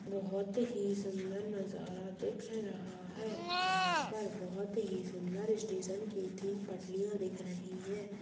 बहोत ही सुन्दर नज़ारा दिख रहा हैं यहाँ पर बहुत ही सुन्दर स्टेशन की तीन पटरियां दिख रही हैं।